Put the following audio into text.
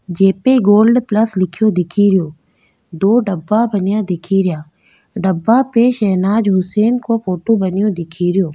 जे पे gold plus लिख्यो दिखे रियो दो डब्बा बनया दिखे रिया डब्बा पे शहनाज हुसैन को फोटो बन्यो दिखेरयो।